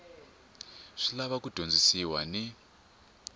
swi lava ku dyondzisiwa ni